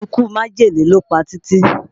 Ikú májèlé ló pa Títí